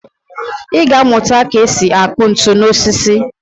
Ị ga-amụta ka e si akụ ntu n'osisi